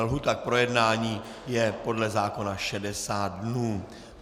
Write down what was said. Lhůta k projednání je podle zákona 60 dnů.